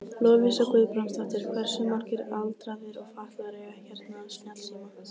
Lovísa Guðbrandsdóttir: Hversu margir aldraðir og fatlaðir eiga hérna snjallsíma?